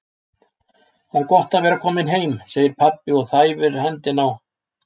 Það er gott að vera kominn heim, segir pabbi og þæfir hendina á